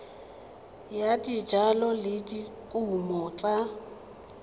ya dijalo le dikumo tsa